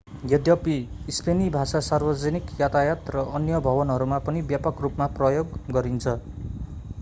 यद्यपि स्पेनी भाषा सार्वजनिक यातायात र अन्य भवनहरूमा पनि व्यापक रूपमा प्रयोग गरिन्छ